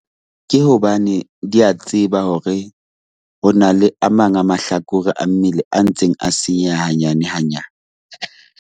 Ke hobane di a tseba hore ho na le a mang a mahlakore a mmele a ntseng a senyeha hanyane hanyane .